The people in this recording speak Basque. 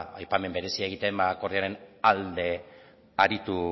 aipamen berezia egiten akordioaren alde aritu